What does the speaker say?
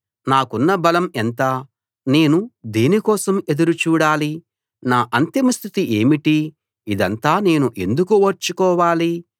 నాకున్న బలం ఎంత నేను దేని కోసం ఎదురు చూడాలి నా అంతిమ స్థితి ఏమిటి ఇదంతా నేను ఎందుకు ఓర్చుకోవాలి